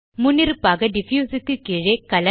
முன்னிருப்பாக டிஃப்யூஸ் க்கு கீழே கலர்